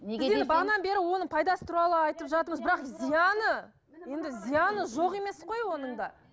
бағанадан бері оның пайдасы туралы айтып жатырмыз бірақ зияны енді зияны жоқ емес қой оның да